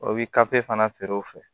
O bɛ fana feere o fɛ